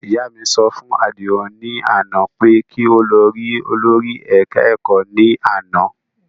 Ìyá mi sọ fún Àdìó ní àná pé kí ó lọ rí olórí ẹ̀ka ẹ̀kọ́ ní àná